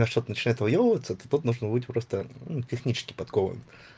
а что-то начинает выёбываться то тут нужно быть просто ну технически подкован